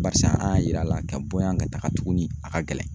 Barisa an y'a yir'a la ka bɔ yan ka taga tuguni a ka gɛlɛn